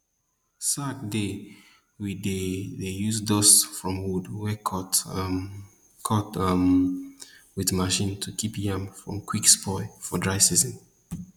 sack dey we dey dey use dust from wood wey dem um cut um wit machine to kip yam from quick spoil for dry season